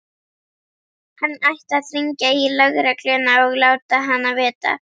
Hann ætti að hringja í lögregluna og láta hana vita.